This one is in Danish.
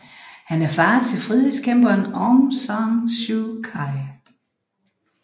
Han er far til frihedskæmperen Aung San Suu Kyi